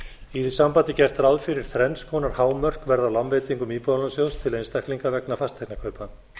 í því sambandi er gert ráð fyrir að þrenns konar hámörk verði á lánveitingum íbúðalánasjóðs til einstaklinga vegna fasteignakaupa